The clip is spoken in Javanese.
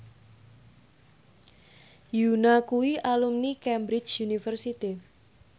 Yoona kuwi alumni Cambridge University